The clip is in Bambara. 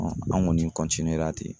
an ŋɔni ra ten .